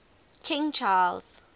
king charles